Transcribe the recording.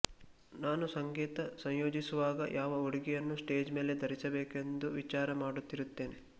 ನಾನು ಸಂಗೀತ ಸಂಯೋಜಿಸುವಾಗ ಯಾವ ಉಡುಗೆಯನ್ನು ಸ್ಟೇಜ್ ಮೇಲೆ ಧರಿಸಬೇಕೆಂದು ವಿಚಾರ ಮಾಡುತ್ತಿರುತ್ತೇನೆ